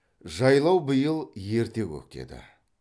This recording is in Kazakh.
жайлау биыл ерте көктеді